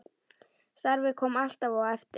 Starfið kom alltaf á eftir.